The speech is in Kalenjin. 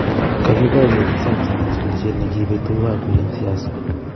kakiparieji samsung en chikilisiet ne kibee tuguk ab pik en siasa